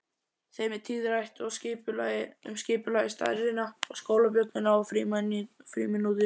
Þeim er tíðrætt um skipulagið, stærðina, skólabjölluna og frímínútur.